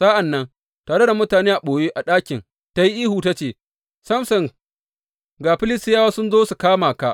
Sa’an nan, tare da mutane a ɓoye a ɗakin, ta yi ihu ta ce, Samson ga Filistiyawa sun zo su kama ka!